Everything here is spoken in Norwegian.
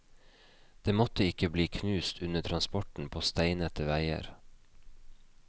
Det måtte ikke bli knust under transporten på steinete veier!